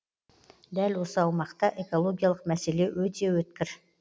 дәл осы аумақта экологиялық мәселе өте өткір